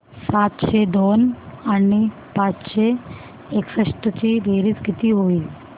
सातशे दोन आणि पाचशे एकसष्ट ची बेरीज किती होईल